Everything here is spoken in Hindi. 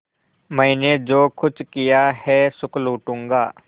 मैंने जो कुछ किया है सुख लूटूँगा